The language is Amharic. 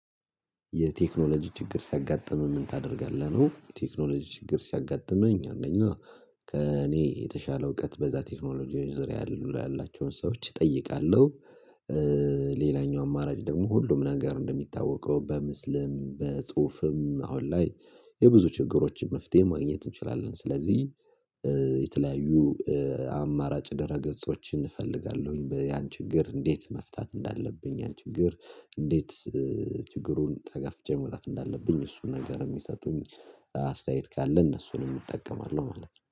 የቴክኖሎጂ ችግር ሲያጋጥም ምን ታደርጋለህ ነው? የቴክኖሎጂ ችግር ሲያጋጥመኝ አንደኛ ከእኔ የተሻለ እውቀት በዛ ቴክኖሎጂ ዙር ያሉ ያላቸውን ሰዎች እጠይቃለሁ። ሌላኛው አማራጭ ደግሞ ሁሉም ነገር እንደሚታወቀው በምስልም በጽሁፍም አሁን ላይ የብዙ ችግሮችን መፍትሄ ማግኘት እንችላለን። ስለዚህ የተለያዩ አማራጭ ደረገጾችን እፈልጋለሁ። ያን ችግር እንዴት መፍታት እንዳለብኝ ያን ችግር እንዴት ችግሩን ተጋፍጬ መውጣት እንዳለብኝ እሱን ነገር የሚሰጡኝ አስተያየት ካለ እነሱንም እጠቀማለሁ ማለት ነው